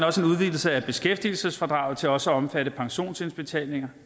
også en udvidelse af beskæftigelsesfradraget til også at omfatte pensionsindbetalinger